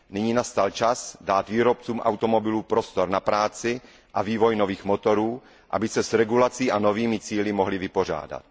Nyní nastal čas dát výrobcům automobilů prostor na práci a vývoj nových motorů, aby se s regulací a novými cíli mohli vypořádat.